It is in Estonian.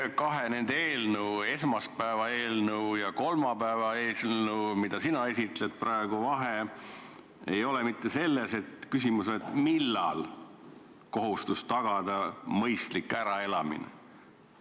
Aga kas nende kahe eelnõu – esmaspäevase eelnõu ja praegu esitletava kolmapäevase eelnõu – vahe ei ole mitte selles, et tekib küsimus, millal tuleb tagada mõistlik äraelamine?